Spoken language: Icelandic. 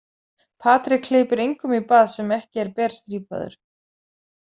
Patrik hleypir engum í bað sem ekki er berstrípaður.